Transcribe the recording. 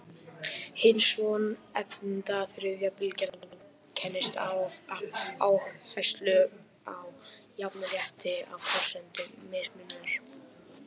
Hin svonefnda þriðja bylgja einkennist af áherslu á jafnrétti á forsendum mismunar.